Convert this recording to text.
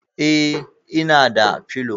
E, ina da pillow.